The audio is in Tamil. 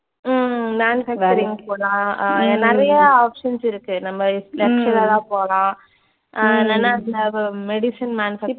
உம் manufacturing க்கு போலாம் அஹ் நிறைய options இருக்கு. நம்ம lecturer ஆ போலாம் அஹ் இல்லன்னா இப்ப medicine manufacturing